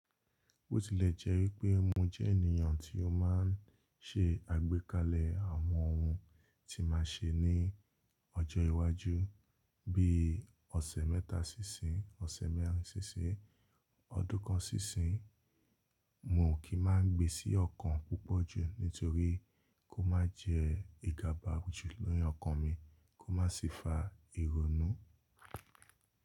Bó tilẹ̀ jẹ́ wípé mo jẹ́ ènìyàn tí ó máa ń ṣe àgbékalẹ̀ àwọn ohun tí màá ṣe ní ọjọ́ iwájú bí i ọ̀sẹ̀ mẹ́ta sí ìsín, ọ̀sẹ̀ mẹ́rin sí ìsín, ọdún kan sí ìsín, mo ò kí máa ń gbe sí ọkàn púpọ̀ jù nítorí kó má jẹ ìgàba jù fu ọkàn mi kó má sì fa ìrònú.